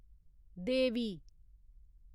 देवी